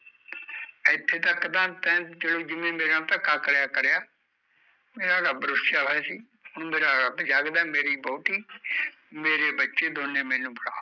ਏਥੇ ਤਕ ਤਾਂ ਤੈਂ ਚਲੋ ਜਿਵੇ ਮੇਰੇ ਨਾਲ਼ ਧੱਕਾ ਕਰਿਆ ਕਰਿਆ ਮੇਰਾ ਰੱਬ ਰੁੱਸਿਆ ਹੋਇਆ ਸੀ ਹੁਣ ਮੇਰਾ ਰੱਬ ਜਾਗਦਾ ਐ ਮੇਰੀ ਵੋਹਟੀ ਮੇਰੇ ਬੱਚੇ ਦੋਨੇ ਮੈਨੂੰ ਫੜਾ